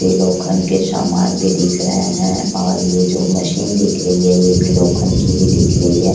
वे लोखन के समान भी दिख रहे है और ये जो मशीन दिख री है ये भी लोखन की ही दिख री हैं।